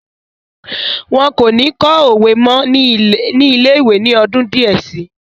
Wọn kò ní kọ́ òwe mọ́ ní ilé-ìwé ní ọdún díẹ̀ si.